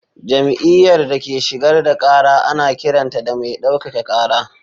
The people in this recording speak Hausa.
Jam’iyyar da ke shigar da kara ana kiranta da mai daukaka kara.